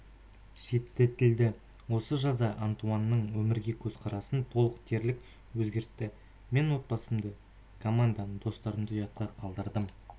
шеттетілді осы жаза антуанның өмірге көзқарасын толық дерлік өзгертті мен отбасымды команданы достарымды ұятқа қалдырдым